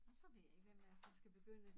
Og så ved jeg ikke hvem der så skal begynde